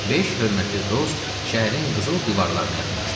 Beş hörmətli dost şəhərin qızıl divarlarına yaxınlaşdı.